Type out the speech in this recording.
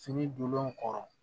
Fini donnen nu kɔrɔ